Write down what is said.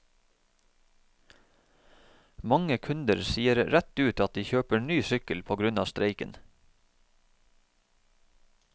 Mange kunder sier rett ut at de kjøper ny sykkel på grunn av streiken.